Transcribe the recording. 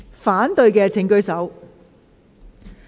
反對的請舉手。